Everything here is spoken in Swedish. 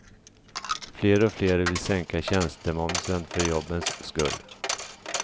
Fler och fler vill sänka tjänstemomsen för jobbens skull.